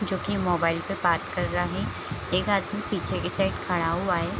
जो की मोबाइल पे बात कर रहा है | एक आदमी पीछे के साइड खड़ा हुआ है |